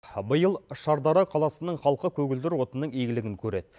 биыл шардара қаласының халқы көгілдір отынның игілігін көреді